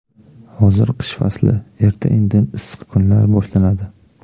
Hozir qish fasli, erta-indin issiq kunlar boshlanadi.